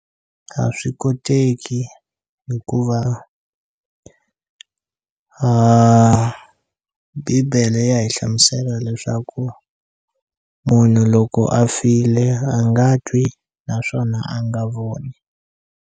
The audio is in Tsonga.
A swi koteki hikuva bibele ya hi hlamusela leswaku munhu loko a file a nga twi naswona a nga voni.